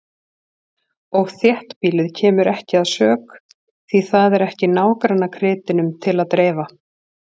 Og þéttbýlið kemur ekki að sök, því það er ekki nágrannakrytinum til að dreifa.